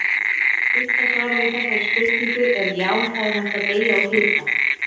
Stutta svarið við þessari spurningu er já, það er hægt að deyja úr hita.